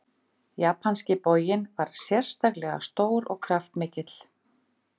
Japanski boginn var sérstaklega stór og kraftmikill.